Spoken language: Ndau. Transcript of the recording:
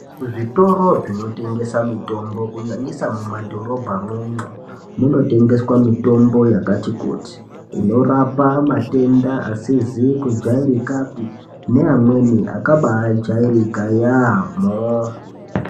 Kuzvitoro zvinotengesa mitombo kunyanyisa mumadhorobha umwomwo munotengeswa mitombo yakati kuti inorapa matenda asizi kujairikapi neamweni akabajairika yamho.